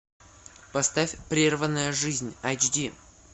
поставь прерванная жизнь айч ди